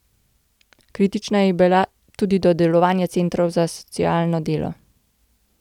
Kritična je bila tudi do delovanja centrov za socialno delo.